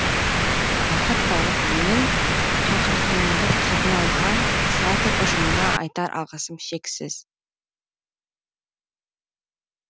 уақыт тауып менің шақыртуымды қабыл алған театр ұжымына айтар алғысым шексіз